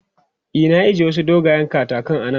E, na ije wasu dogayen katakan a nan.